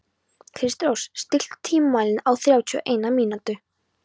Kristrós, stilltu tímamælinn á þrjátíu og eina mínútur.